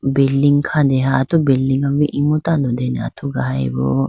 building khandeha atu building ma boo imu tando dene athugayi boo.